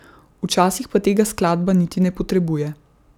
Včasih pa tega skladba niti ne potrebuje.